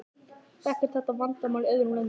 Þekkist þetta vandamál í öðrum löndum?